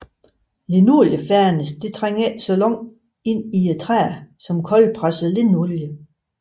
Linoliefernis trænger ikke så langt ind i træet som koldpresset linolie